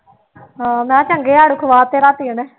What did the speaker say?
ਹਾਂ ਮੈਂ ਕਿਹਾ ਚੰਗੇ ਆੜੂ ਖਵਾ ਤੇ ਰਾਤੀ ਉਹਨੇ